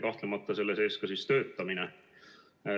Kahtlemata on selle sees ka töötamine.